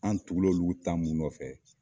An tugul'olu ta mun nɔfɛ